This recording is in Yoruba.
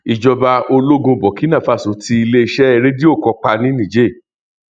ìjọba ológun burkina faso ti iléeṣẹ rédíò kan pa ní niger